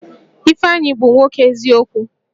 Ifeanyi bụ nwoke eziokwu